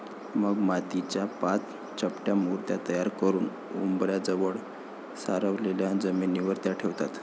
मग मातीच्या पाच चपट्या मूर्ती तयार करुन उंबऱ्याजवळ सारवलेल्या जमिनीवर त्या ठेवतात.